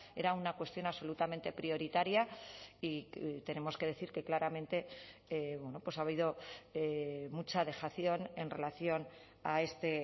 era una cuestión absolutamente prioritaria y tenemos que decir que claramente ha habido mucha dejación en relación a este